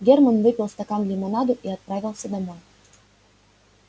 германн выпил стакан лимонаду и отправился домой